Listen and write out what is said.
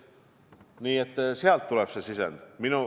Nii et sealt tuleb see sisend.